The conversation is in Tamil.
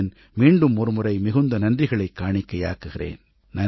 மீண்டும் ஒருமுறை மிகுந்த நன்றிகளைக் காணிக்கையாக்குகிறேன்